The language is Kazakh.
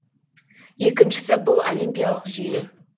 екіншісі бұл олимпиялық жүйе